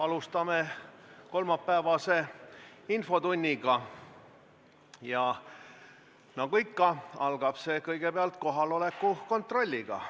Alustame kolmapäevast infotundi ja nagu ikka, algab see kõigepealt kohaloleku kontrolliga.